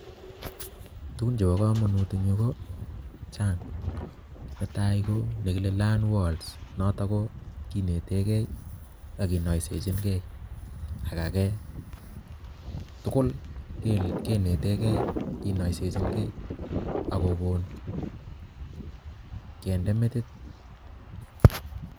Tugun chebo kamanut eng yu ko chang netai ko nekile Learnwords notok ko kinetegei ak kinaisechingei ak age tugul kinetegei kinaisechingei ak kogon kende metit.